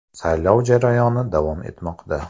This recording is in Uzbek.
Saylov jarayoni davom etmoqda.